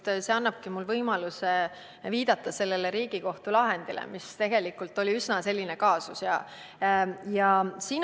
See küsimus annabki mulle võimaluse viidata ühele Riigikohtu lahendile, mille korral oli tegemist üsna seda tüüpi kaasusega.